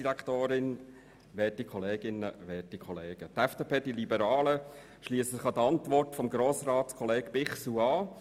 Die FDP die Liberalen, schliessen sich der Antwort von Grossratskollege Bichsel an.